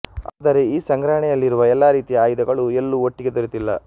ಆದರೆ ಈ ಸಂಗ್ರಹಣೆಯಲ್ಲಿರುವ ಎಲ್ಲ ರೀತಿಯ ಆಯಧಗಳು ಎಲ್ಲೂ ಒಟ್ಟಿಗೆ ದೊರೆತಿಲ್ಲ